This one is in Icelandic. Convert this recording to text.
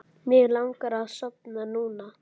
Mig langar að sofna núna.